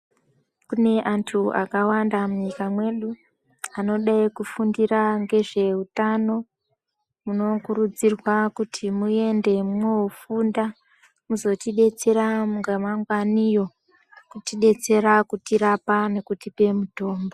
Kune antu akawanda munyika mwedu anode kufundira ngezve utano munokurudzirwa kuti muende mwoofunda mozotidetsera ramangwaniyo kutidetsera kutirapa nekutipa mitombo .